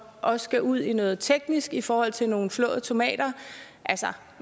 også skal ud i noget teknisk i forhold til nogle flåde tomater altså